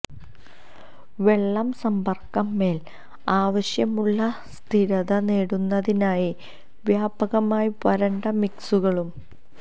വെള്ളം സമ്പർക്കം മേൽ ആവശ്യമുള്ള സ്ഥിരത നേടുന്നതിനായി വ്യാപകമായി വരണ്ട മിക്സുകളും